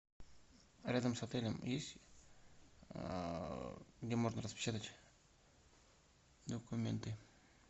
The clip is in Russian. рядом с отелем есть где можно распечатать документы